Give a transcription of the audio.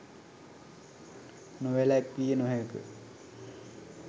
නොවෑලක්විය නොහෑක.